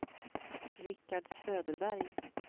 Richard Söderberg